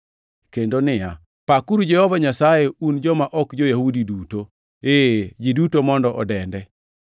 Kendo niya, “Pakuru Jehova Nyasaye un joma ok jo-Yahudi duto, ee ji duto mondo odende,” + 15:11 \+xt Zab 117:1\+xt*